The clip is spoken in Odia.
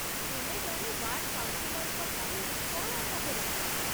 ତୁମେ ଜଣେ ୱାର୍ଡ଼୍ କାଉନ୍‌ସିଲର୍‌ଙ୍କ ଠାରୁ କ'ଣ ଆଶା କରୁଛ?